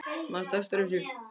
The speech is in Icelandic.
Manstu eftir þessum?